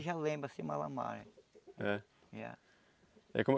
Eu já lembro, assim. É? É. E como